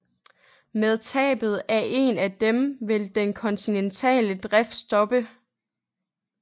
Med tabet af en af dem vil den kontinentale drift stoppe